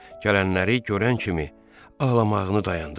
Gələnləri görən kimi ağlamağını dayandırdı.